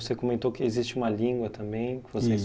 Você comentou que existe uma língua também que vocês